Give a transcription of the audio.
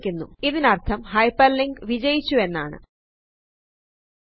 ഇതിനർഥം hyperlink വിജയിച്ചു എന്നാണ്160